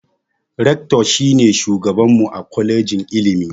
"Rector" shi ne shugaban mu a kwalejin ilimi